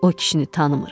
O kişini tanımırıq.